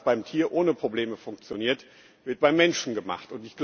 Denn alles, was beim Tier ohne Probleme funktioniert, wird beim Menschen gemacht.